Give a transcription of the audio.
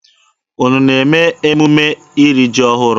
Unu na-eme emume iri ji ọhụrụ?